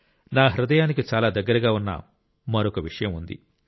నా హృదయానికి చాలా దగ్గరగా ఉన్న మరొక విషయం ఉంది